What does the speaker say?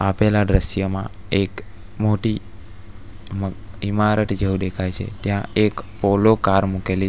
આપેલા દ્રશ્યમાં એક મોટી ઇમા ઇમારત જેવું દેખાય છે ત્યાં એક પોલો કાર મૂકેલી --